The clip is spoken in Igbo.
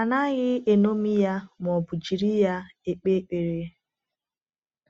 A naghị eṅomi ya ma ọ bụ jiri ya ekpe ekpere.